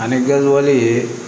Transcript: Ani gawale